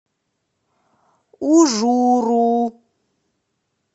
ужуру